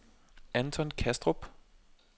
Anton Kastrup